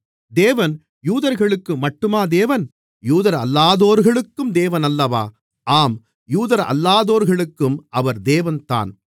தேவன் யூதர்களுக்கு மட்டுமா தேவன் யூதரல்லாதோர்களுக்கும் தேவனல்லவா ஆம் யூதரல்லாதோர்களுக்கும் அவர் தேவன்தான்